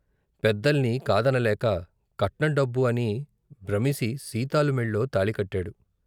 పెద్దల్ని కాదనలేక కట్నం డబ్బు అని బ్రమిసి సీతాలు మెళ్ళో తాళికట్టాడు.